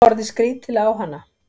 Horfði skrítilega á hana.